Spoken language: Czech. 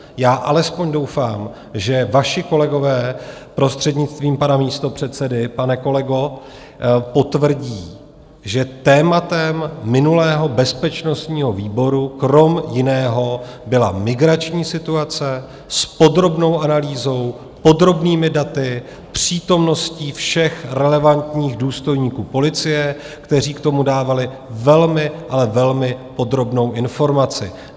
Já alespoň doufám, že vaši kolegové, prostřednictvím pana místopředsedy, pane kolego, potvrdí, že tématem minulého bezpečnostního výboru kromě jiného byla migrační situace s podrobnou analýzou, podrobnými daty, přítomností všech relevantních důstojníků policie, kteří k tomu dávali velmi, ale velmi podrobnou informaci.